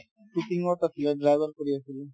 ছিকিমত আছিলে driver কৰি আছিলে